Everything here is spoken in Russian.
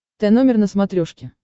тномер на смотрешке